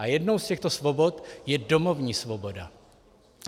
A jednou z těchto svobod je domovní svoboda.